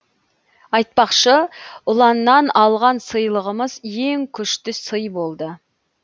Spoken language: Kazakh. айтпақшы ұланнан алған сыйлығымыз ең күшті сый болды